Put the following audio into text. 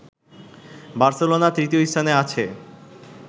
Barcelona তৃতীয় স্থানে আছে